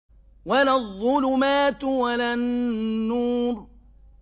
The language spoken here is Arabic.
وَلَا الظُّلُمَاتُ وَلَا النُّورُ